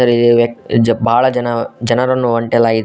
ಈ ವ್ಯಕ್ತ ಬಾಳ ಜನಾ ಜನರನ್ನು ಹೊಂಟೆಲಾಗಿದೆ.